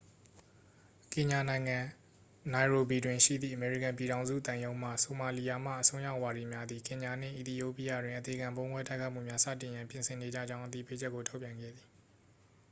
"ကင်ညာနိုင်ငံ၊ နိုင်ရိုဘီတွင် ရှိသည့် အမေရိကန်ပြည်ထောင်စု သံရုံးမှ "ဆိုမာလီယာမှ အစွန်းရောက်ဝါဒီများ" သည် ကင်ညာနှင့် အီသီယိုးပီးယားတွင် အသေခံဗုံးခွဲတိုက်ခိုက်မှုများ စတင်ရန် ပြင်ဆင်နေကြကြောင်း သတိပေးချက်ကို ထုတ်ပြန်ခဲ့သည်။